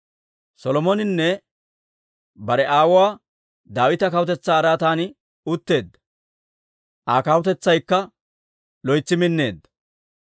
Solomoninne bare aawuwaa Daawita kawutetsaa araatan utteedda; Aa kawutetsaykka loytsi minneedda.